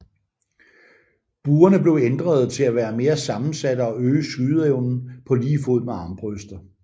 Buerne blev ændrede til at være mere sammensatte og øge skydeevnen på lige fod med armbrøster